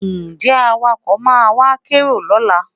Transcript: Ǹjẹ́ Awakọ̀ máa wá kérò lọ́la?